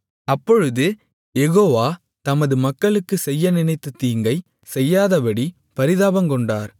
அப்பொழுது யெகோவா தமது மக்களுக்குச் செய்ய நினைத்த தீங்கைச்செய்யாதபடி பரிதாபங்கொண்டார்